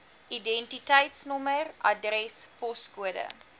identiteitsnommer adres poskode